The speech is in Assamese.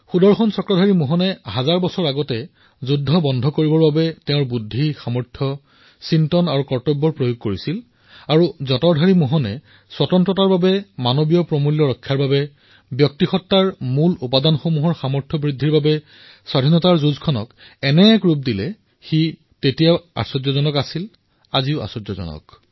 সুদৰ্শন চক্ৰধাৰী মোহনে সেই সময়ৰ স্থিতিত হাজাৰ বছৰ পূৰ্বেও যুদ্ধ বন্ধ কৰাৰ বাবে সংঘৰ্ষ বন্ধ কৰাৰ বাবে নিজৰ বুদ্ধি কৰ্তব্যৰ সামৰ্থৰ নিজৰ চিন্তাৰ ভৰপূৰ প্ৰয়াস কৰিছিল আৰু যঁতৰ চলোৱা মোহনেও এনে এক পথ বাচি লৈছিল স্বতন্ত্ৰতাৰ বাবে মানৱীয় মূল্যৰ বাবে ব্যক্তিত্বৰ মূল তত্বৰ সামৰ্থৰ বাবে ইয়াৰ বাবে স্বাধীনতাৰ যুদ্ধক এনে এক ৰূপ প্ৰদান কৰিছিল যি সমগ্ৰ বিশ্বৰ বাবে আচৰিত বস্তু আজিও আচৰিত বস্তু